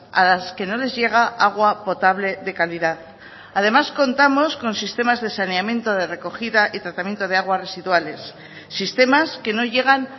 a las que no les llega agua potable de calidad además contamos con sistemas de saneamiento de recogida y tratamiento de aguas residuales sistemas que no llegan